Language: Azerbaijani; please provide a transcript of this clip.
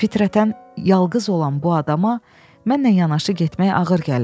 Fitrətən yalqız olan bu adama mənlə yanaşı getmək ağır gəlir.